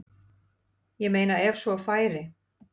Ég meina ef svo færi.